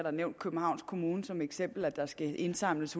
københavns kommune nævnt som eksempel og at der skal indsamles